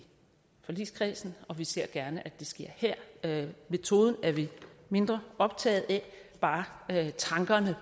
forligskredsen og vi ser gerne at det ser sker her metoden er vi mindre optaget af bare tankerne